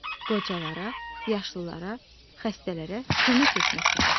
Qocalara, yaşlılara, xəstələrə kömək etmək lazımdır.